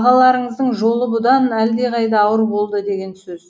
ағаларыңыздың жолы бұдан әлдеқайда ауыр болды деген сөз